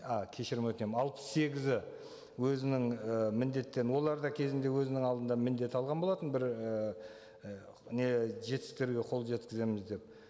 а кешірім өтінемін алпыс сегізі өзінің і міндеттерін олар да кезінде өзінің алдында міндет алған болатын бір ііі не жетістіктерге қол жеткіземіз деп